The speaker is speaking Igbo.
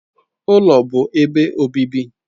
Ụlọ bụ ebe obibi.